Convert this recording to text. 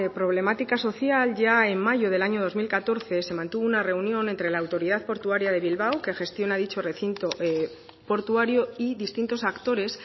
problemática social ya en mayo del año dos mil catorce se mantuvo una reunión entre la autoridad portuaria de bilbao que gestiona dicho recinto portuario y distintos actores